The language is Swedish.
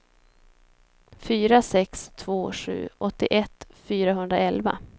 fyra sex två sju åttioett fyrahundraelva